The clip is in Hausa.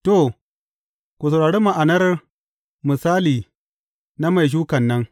To, ku saurari ma’anar misali na mai shukan nan.